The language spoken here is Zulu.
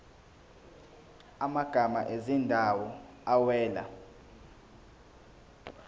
amagama ezindawo awela